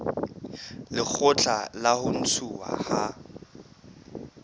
lekgotla la ho ntshuwa ha